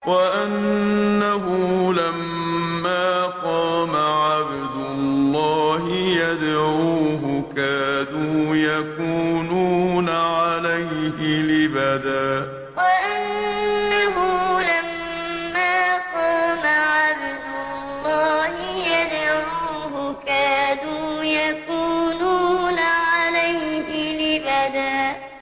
وَأَنَّهُ لَمَّا قَامَ عَبْدُ اللَّهِ يَدْعُوهُ كَادُوا يَكُونُونَ عَلَيْهِ لِبَدًا وَأَنَّهُ لَمَّا قَامَ عَبْدُ اللَّهِ يَدْعُوهُ كَادُوا يَكُونُونَ عَلَيْهِ لِبَدًا